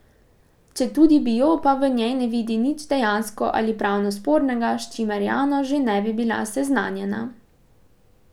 Četudi bi jo, pa v njej ne vidi nič dejansko ali pravno spornega, s čimer javnost že ne bi bila seznanjena.